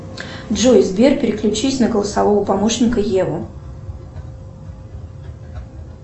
джой сбер переключись на голосового помощника еву